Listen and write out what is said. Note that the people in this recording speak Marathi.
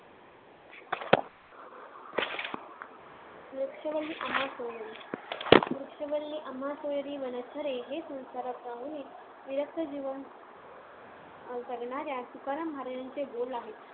वृक्षवल्ली आम्हां सोयरी वनचरे हे संसारात राहूनही विरक्त जीवन जगणाऱ्या तुकाराम महाराजांचे बोल आहेत.